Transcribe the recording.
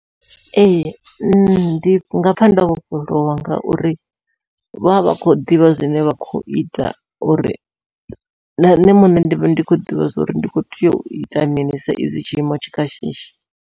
Ee ndi nga pfha ndo vhofholowa ngauri vha vha khou ḓivha zwine vha kho ita, uri na nṋe muṋe ndi vhe ndi khou ḓivha zwa uri ndi kho tea u ita mini sa izwi tshiimo tshi kha shishi.